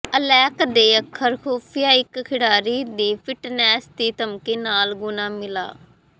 Alec ਦੇ ਅੱਖਰ ਖੁਫੀਆ ਇਕ ਖਿਡਾਰੀ ਦੀ ਫਿਟਨੈੱਸ ਦੀ ਧਮਕੀ ਨਾਲ ਗੁਣਾ ਮਿਲਾ